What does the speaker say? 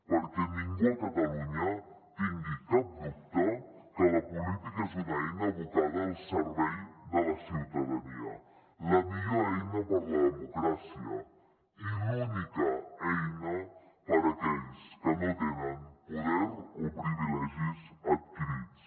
perquè ningú a catalunya tingui cap dubte que la política és una eina abocada al servei de la ciutadania la millor eina per la democràcia i l’única eina per aquells que no tenen poder o privilegis adquirits